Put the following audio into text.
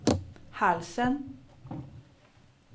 halsen